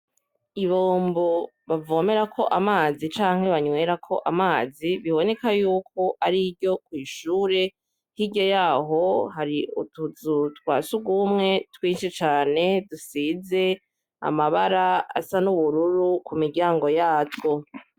Ibombo bavomerako amazi canke banwerakako amazi biboneka yuko ariryo kwishure hirya yaho hari utuzu twasugumwe twinshi cane dusize amabara asa n' ubururu kumiryango yabwo .